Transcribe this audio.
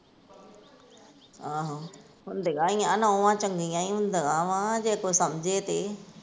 ਆਹੋ, ਹੁੰਦੀਆਂ ਹੀ ਆਂ ਨੌਵਾਂ ਚੰਗੀਆਂ ਹੀ ਹੁੰਦੀਆਂ ਵਾਂ ਜੇ ਕੋਈ ਸਮਝੇ ਤੇ।